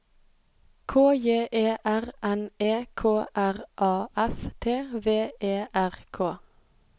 K J E R N E K R A F T V E R K